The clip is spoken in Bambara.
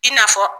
I n'a fɔ